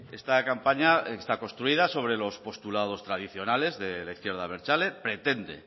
esta campaña está construida sobre los postulados tradicionales de la izquierda abertzale pretende